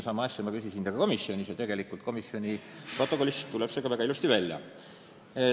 Sama asja kohta ma küsisin ka komisjonis ja komisjoni protokollist tuleb see väga ilusti välja.